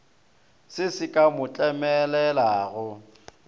se se ka mo tlemelelago